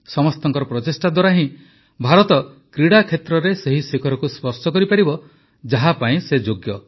ସମସ୍ତଙ୍କ ପ୍ରଚେଷ୍ଟା ଦ୍ୱାରା ହିଁ ଭାରତ କ୍ରୀଡ଼ା କ୍ଷେତ୍ରରେ ସେହି ଶିଖରକୁ ସ୍ପର୍ଶ କରିପାରିବ ଯାହା ପାଇଁ ସେ ଯୋଗ୍ୟ